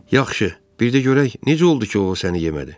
Yaxşı, bir də görək necə oldu ki, o səni yemədi?